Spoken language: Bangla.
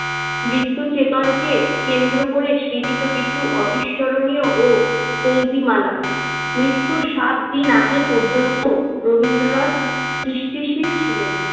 মৃত্যু চেতনকে কেন্দ্র করে সৃজিত কিছু অবিস্মরণীয় ও পঙক্তিমালা। মৃত্যুর সাতদিন আগে পর্যন্ত রবীন্দ্রনাথ সৃষ্টিশীল ছিলেন।